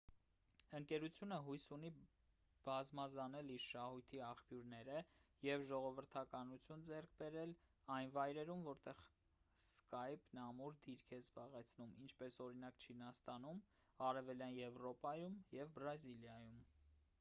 ընկերությունը հույս ունի բազմազանել իր շահույթի աղբյուրները և ժողովրդականություն ձեռք բերել այն վայրերում որտեղ սկայպն ամուր դիրք է զբաղեցնում ինչպես օրինակ չինաստանում արևելյան եվրոպայում և բրազիլիայում